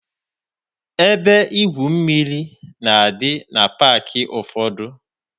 Ebe igwu mmiri na-adị na paakị ụfọdụ.